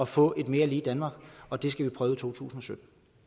få et mere lige danmark og det skal vi prøve i totusinde